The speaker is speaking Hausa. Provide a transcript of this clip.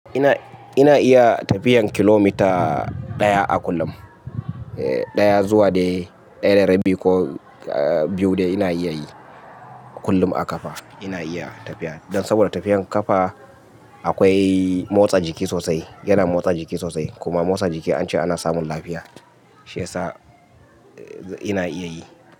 Ina, ina iya tafiyan kilomita ɗaya a kullum. E, ɗaya zuwa da ɗaya da rabi ko biyu dai ina iya yi kullum a ƙafa ina iya tafiya. Dan saboda tafiyan ƙafa akwai motsa jiki sosai, yana motsa jiki sosai kuma motsa jiki an ce ana samun lafiya. Shi yasa ina iya yi.